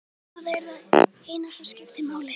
Það er það eina sem skiptir máli.